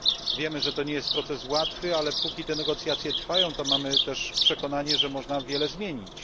Wiemy, że nie jest to proces łatwy, ale póki negocjacje trwają, to mamy też przekonanie, że można wiele zmienić.